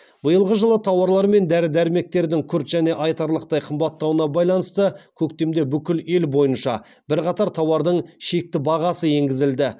биылғы жылы тауарлар мен дәрі дәрмектердің күрт және айтарлықтай қымбаттауына байланысты көктемде бүкіл ел бойынша бірқатар тауардың шекті бағасы енгізілді